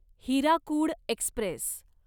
Hirakud Express